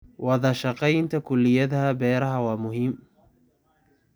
Wadashaqeynta kulliyadaha beeraha waa muhiim.